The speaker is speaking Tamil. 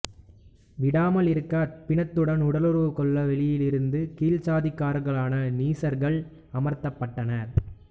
விடாமலிருக்க அந்த பிணத்துடன் உடலுறவுகொள்ள வெளியிலிருந்து கீழ்ச்சாதிக்காரர்களான நீசர்கள் அமர்த்தப்பட்டனர்